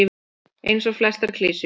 Eins og flestar klisjur.